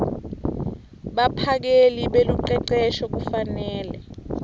baphakeli belucecesho kufanele